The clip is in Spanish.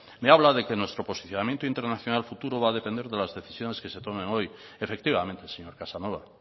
me habla de que nuestro posicionamiento internacional futuro va a depender de las decisiones que se tomen hoy efectivamente señor casanova